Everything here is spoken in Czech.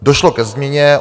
Došlo ke změně.